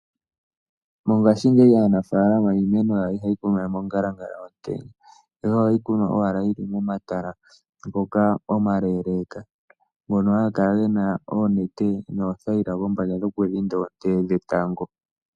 Mongashingeyi aanafalama iimeno yawo ihayi kunwa we mongalanga yomutenya ihe ohayi kunwa owala yili momatala ngoka omaleeleka ngono haga kala gena oonete noothayila kombanda dhokudhinda oonte dhetango.